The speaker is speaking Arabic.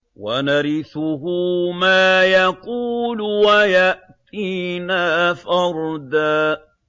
وَنَرِثُهُ مَا يَقُولُ وَيَأْتِينَا فَرْدًا